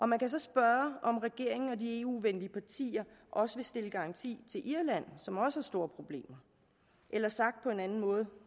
man kan så spørge om regeringen og de eu venlige partier også vil stille garanti til irland som også har store problemer eller sagt på en anden måde